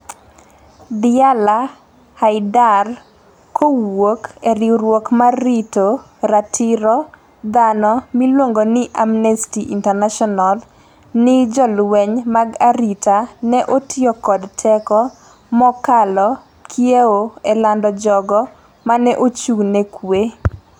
Diala Haidar, kowuok e riwruok mar rito ratiro dhano miluongo ni Amnesty International, ni "jolweny mag arita ne otiyo kod teko mokalo kiewo e lando jogo mane ochung' ne kwe.